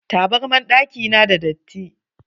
Taburman ɗakin na da datti.